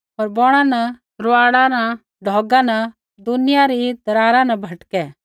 होर बौणा न रूआड़ा न ढौगा न होर दुनिया री दरारा न भटकै